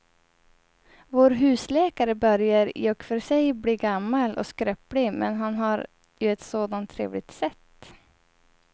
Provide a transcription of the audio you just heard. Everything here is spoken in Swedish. Vår husläkare börjar i och för sig bli gammal och skröplig, men han har ju ett sådant trevligt sätt!